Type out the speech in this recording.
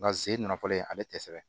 Nka ze n nafɔlen ale tɛ sɛbɛn